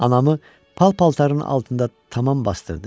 Anamı pal-paltarın altında tamam basdırdı.